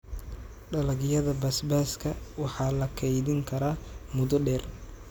Dalagyada basbaaska waxaa la kaydin karaa muddo dheer.